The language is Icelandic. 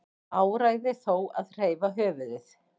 Áræði þó að hreyfa höfuðið.